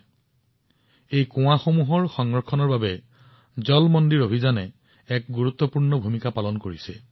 জল মন্দিৰ যোজনাই এই কুঁৱা বা ভাভৰ সংৰক্ষণৰ বাবে এক বৃহৎ ভূমিকা পালন কৰিছিল